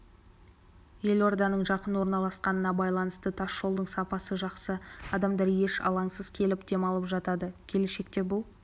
елорданың жақын орналасқанына байланысты тас жолдың сапасы жақсы адамдар еш алаңсыз келіп демалып жатады келешекте бұл